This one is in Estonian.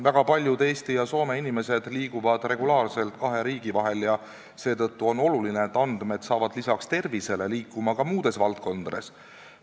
Väga paljud Eesti ja Soome inimesed liiguvad regulaarselt kahe riigi vahel ja seetõttu on oluline, et andmed hakkavad lisaks tervishoiule liikuma ka muudes valdkondades.